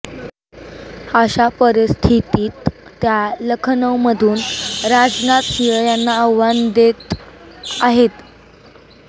अशा परिस्थितीत त्या लखनौमधून राजनाथ सिंह यांना आव्हान देत आहेत